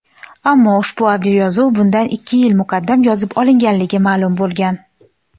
ammo ushbu audioyozuv bundan ikki yil muqaddam yozib olinganligi ma’lum bo‘lgan.